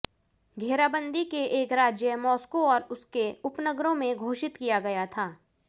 घेराबंदी के एक राज्य मास्को और उसके उपनगरों में घोषित किया गया था